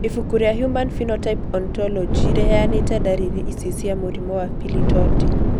Ibuku rĩa Human Phenotype Ontology rĩheanĩte ndariri ici cia mũrimũ wa Pili torti.